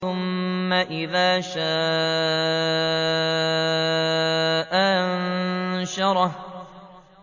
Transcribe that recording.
ثُمَّ إِذَا شَاءَ أَنشَرَهُ